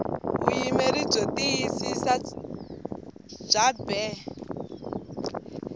vuyimeri byo tiyisisa bya bee